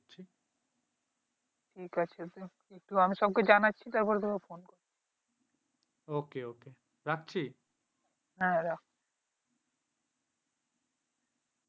ঠিক আছে আমি সব কে জানাচ্ছি তারপর তোকে আমি phone করছি ওকে ওকে রাখছি হ্যাঁ রাখ